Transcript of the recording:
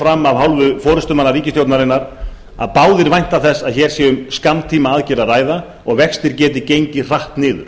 fram af hálfu forustumanna ríkisstjórnarinnar að báðir vænta þess að hér sé um skammtímaaðgerð að ræða og vextir geti gengið hratt niður